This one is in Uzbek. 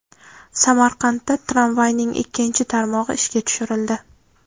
Samarqandda tramvayning ikkinchi tarmog‘i ishga tushirildi.